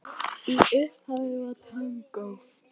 Í upphafi var tangó.